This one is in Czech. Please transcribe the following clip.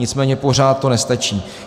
Nicméně pořád to nestačí.